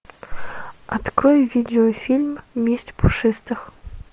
открой видеофильм месть пушистых